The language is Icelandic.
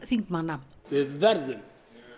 þingmanna við verðum